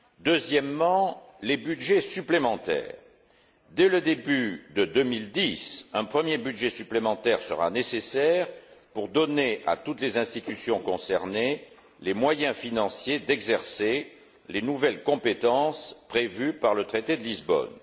Deuxièmement, les budgets supplémentaires dès le début de 2010, un premier budget supplémentaire sera nécessaire pour donner à toutes les institutions concernées les moyens financiers d'exercer les nouvelles compétences prévues par le traité de Lisbonne.